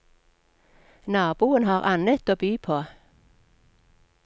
Naboen har annet å by på.